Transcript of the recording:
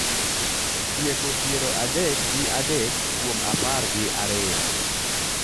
Tieko piero adek gi adek kuom apar gi ariyo